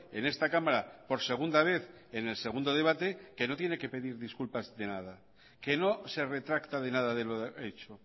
en esta cámara por segunda vez en el segundo debate que no tiene que pedir disculpas de nada que no se retracta de nada de lo hecho